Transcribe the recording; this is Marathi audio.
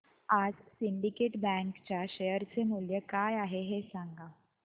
आज सिंडीकेट बँक च्या शेअर चे मूल्य काय आहे हे सांगा